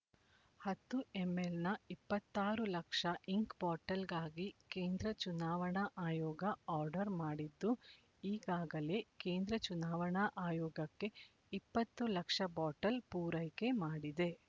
ಹತ್ತು ಎಂಎಲ್ ನ ಇಪ್ಪತ್ತ್ ಆರು ಲಕ್ಷ ಇಂಕ್ ಬಾಟೆಲ್ ಗಾಗಿ ಕೇಂದ್ರ ಚುನಾವಣಾ ಆಯೋಗ ಆರ್ಡರ್ ಮಾಡಿದ್ದು ಈಗಾಗಲೇ ಕೇಂದ್ರ ಚುನಾವಣಾ ಆಯೋಗಕ್ಕೆ ಇಪ್ಪತ್ತು ಲಕ್ಷ ಬಾಟೆಲ್ ಪೂರೈಕೆ ಮಾಡಿದೆ